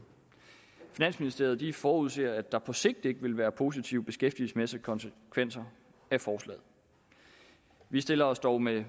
finansministeriet forudser at der på sigt ikke vil være positive beskæftigelsesmæssige konsekvenser af forslaget vi stiller os dog med